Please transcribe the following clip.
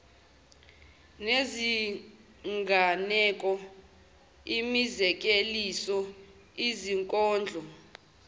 nezinganeko imizekeliso izinkondlo